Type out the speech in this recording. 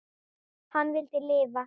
Hann vildi lifa.